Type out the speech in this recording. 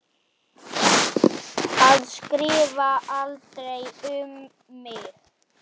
Að skrifa aldrei um mig.